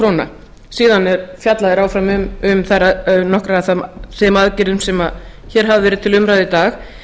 maður síðan fjalla þeir áfram um nokkrar af þeim aðgerðum sem hér hafa verið til umræðu í dag